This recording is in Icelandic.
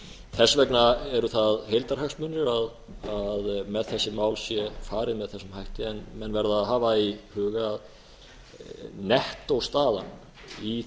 þess vegna eru það heildarhagsmunir að með þessi mál sé farið með þessum hætti en menn verða að hafa í huga að nettóstaðan í